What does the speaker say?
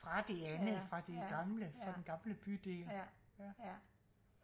fra det andet fra det gamle fra den gamle bydel ja ja